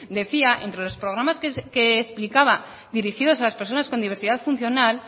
decía entre los programas que explicaba dirigidos a las personas con diversidad funcional